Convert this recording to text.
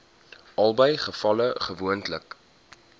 albei gevalle gewoonlik